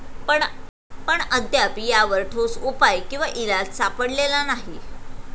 पण अद्याप यावर ठोस उपाय किंवा इलाज सापडलेला नाही.